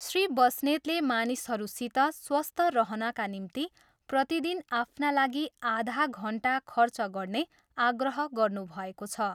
श्री बस्नेतले मानिसहरूसित स्वस्थ रहनका निम्ति प्रतिदिन आफ्ना लागि आधा घन्टा खर्च गर्ने आग्रह गर्नुभएको छ।